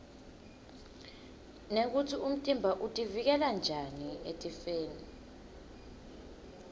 nekutsi umtimba utivikela njani etifeni